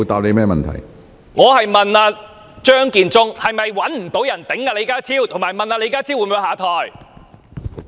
我問張建宗是否找不到人頂替李家超，以及問李家超會否下台？